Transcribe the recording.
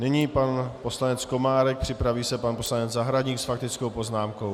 Nyní pan poslanec Komárek, připraví se pan poslanec Zahradník s faktickou poznámkou.